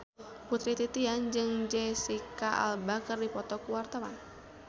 Putri Titian jeung Jesicca Alba keur dipoto ku wartawan